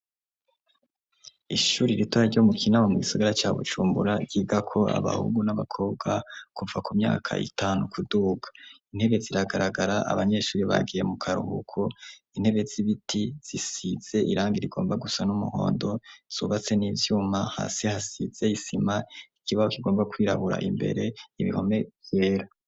Ishuri ritoya ryo mu Kinama mu gisagara ca Bujumbura, ryigako abahungu n'abakobwa kuva ku myaka itanu kuduga. Intebe ziragaragara, abanyeshuri bagiye mu karuhuko intebe z'ibiti zisitse irangi rigomba gusa n'umuhondo zubatse n'ivyuma, hasi hasize isima, ikibaho kigomba kwirabura imbere, ibihome vyera.